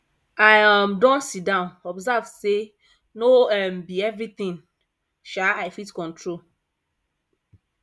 i um don sidon observe say no um be everything um i fit control